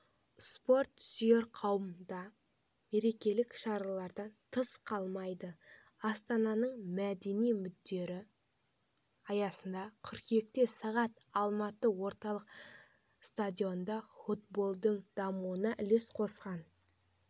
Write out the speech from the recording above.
спорт сүйер қауым да мерекелік шаралардан тыс қалмайды астананың мәдени күндері аясында қыркүйекте сағат алматы орталық стадионында футболдың дамуына үлес қосқан